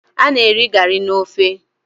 Ana eri gari na ofe